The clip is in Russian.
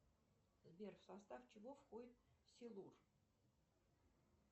сбер в состав чего входит силур